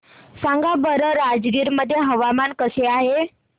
सांगा बरं राजगीर मध्ये हवामान कसे आहे